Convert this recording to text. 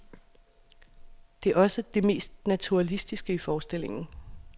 Det er også det mest naturalistiske i forestillingen.